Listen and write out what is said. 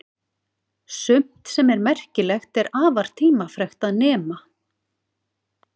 Sumt sem er merkilegt er afar tímafrekt að nema.